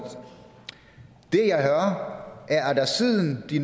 det jeg hører er at der siden de